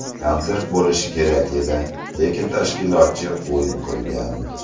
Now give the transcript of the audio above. Konsert bo‘lishi kerak edi, lekin tashkilotchi ‘o‘yin’ qilgan.